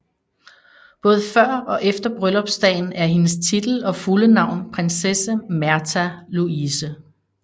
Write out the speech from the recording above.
Både før og efter bryllupsdagen er hendes titel og fulde navn prinsesse Märtha Louise